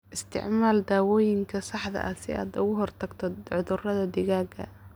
Isticmaal daawooyinka saxda ah si aad uga hortagto cudurrada digaaga.